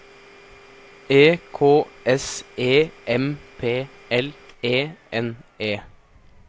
E K S E M P L E N E